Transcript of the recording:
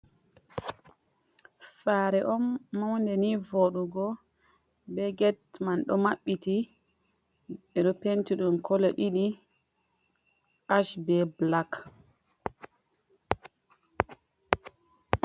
Saare on maunde, ni vooɗugo. Be get man ɗo mabbiti. Ɓe ɗo penti ɗum kolo ɗiɗi, ash be blak.